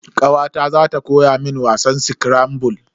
Kawata za ta koya mun wasan skirambul.